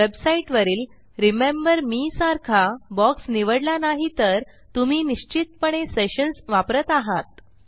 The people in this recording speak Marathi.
वेबसाईटवरील रिमेंबर मे सारखा बॉक्स निवडला नाही तर तुम्ही निश्चितपणे सेशन्स वापरत आहात